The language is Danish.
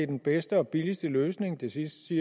den bedste og billigste løsning det sidste